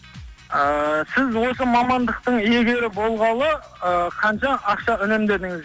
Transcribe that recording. ааа сіз осы мамандықтың иегері болғалы ы қанша ақша үнемдедіңіз